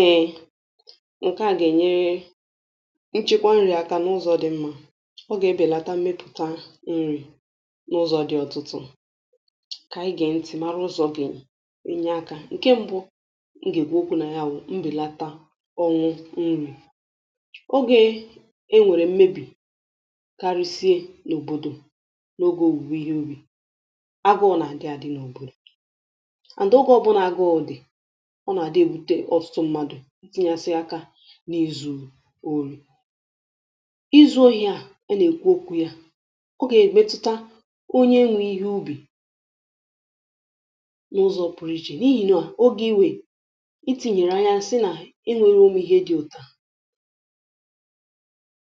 Eė, ǹkè a gà-ènyere nchịkwa nri̇ aka n’ụzọ̇ dị̇ mmȧ. Ọ gà-ebèlata mmepụ̀ta nri̇ n’ụzọ̇ dị̇ ọ̀tụtụ̇. Ǹkè ànyị gà-entị̀ mara ụzọ̇ gèenye aka. Ǹkè m̀bụ, ǹgègwè okwu̇ nà ya wụ̀ um mbèlata ọnwụ nri̇. Ọ gà-enwèrè mmebì karisie n’òbòdò n’ogė òwùwè ihe ubì, agụụ, nà ndị àdị n’òbòdò. Na ọgwụ̇ ọbụnà gà ọ dị̀ itinyesi aka n’izu̇ oru̇, izu̇ ohi̇ à. Ọ nà-èkwu okwu yȧ, ọ gà-èmetuta onye nwụ̇ ihe ubi̇ n’ụzọ̇ pụrụ iche n’ihìne à. um Ogė iwè i tinyèrè anya nsị nà e nwėrė umu̇ ihe dị̇ òtù,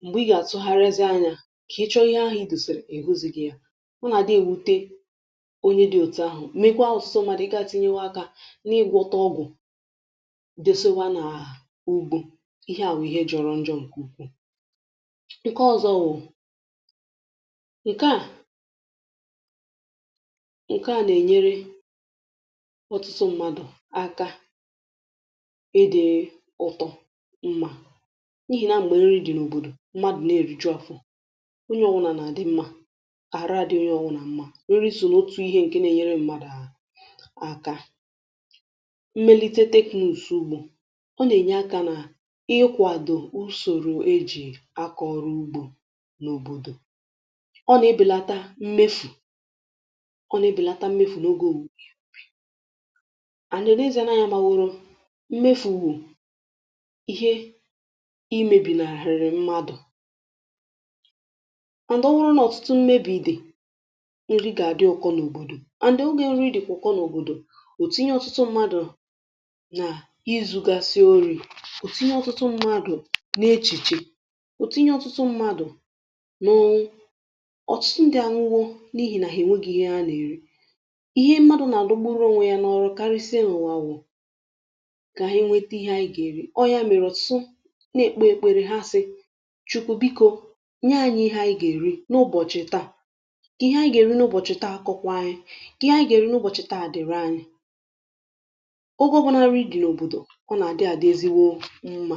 m̀gbè ị gà-àtụ garrezi anyȧ kà ị chọrọ ihe ahụ̇ dùse, èhuzi gị̇ ya. Ọ nà-àdị wute onye dị̇ òtù ahụ̀, mekwaa ọ̀sụsọ. Mmadù, ị ga-atịnyewa akȧ ugwu̇ ihe à bụ̀ ihe jọ̀rọ̀ njọ̀, ǹkè ukwuu... Ǹkè ọzọ wụ̀, ǹkè à nà-ènyere ọtụtụ mmadụ̀ aka. Edė ụtọ̇ mmȧ, n’ihì na m̀gbè nri dị̀ n’òbòdò, mmadụ̀ na-èrichọfụ̇, onye ọwụ̇nà nà-àdị mmȧ. Àra dịyị ọnwụ̇ nà mmȧ nri sò n’otù ihe, ǹkè nà-ènyere mmadụ̀ um Ọ nà-ènye akȧ nà ịhịkwàdò usòrò e jì akọ̀rọ̀ ugbȯ n’òbòdò. Ọ nà-ebèlata mmefù, ọ nà-ebèlata mmefù n’ogė o. Ànyị n’ezie nà-àhụ ya. Mà wụrụ, mmefù bụ̀ ihe imėbì nà-àhụrụ mmadụ̀... Ọ wụrụ nà ọ̀tụtụ mmebì dị̀, nri gà-àdị ọkọ n’òbòdò. And ogė nri dị̀kwọkọ n’òbòdò, òtinye ọtụtụ mmadụ̀, òtinye ọtụtụ mmadụ̀ n’echegharị. Òtinye ọtụtụ mmadụ̀ n’ọnụ̇, ọtụtụ ndị ȧnụgọ̇ n’ihì nà hà ènwe gị ihe a nà-èri. Ihe mmadụ̇ nà-àdụgburu ọnwȧ ya n’ọrụ karịsịa n’ụ̀wà kà ha nweta ihe ànyị gà-èri(um) Ọ ya mèrè sụ, na-ekpo ekpere ha asị̇ “Chukwu bikȯ, nye ànyị̇ ihe ànyị gà-èri n’ụbọ̀chị̀ taà.” Kị, ihe anyị gà-èri n’ụbọ̀chị̀ taa, akọkwaanyị̀, kị, ihe anyị gà-èri n’ụbọ̀chị̀ taa, dị̀rị anyị̀ mma.